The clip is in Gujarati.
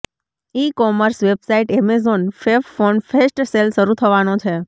ઇ commerce website Amazon fab phone fest sale શરૂ થવાનો છે